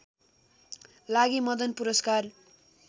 लागि मदन पुरस्कार